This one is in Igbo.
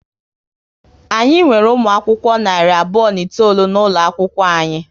Anyị nwere umụ akwụkwọ narị abụọ na itoolu n'ụlọ akwụkwọ anyị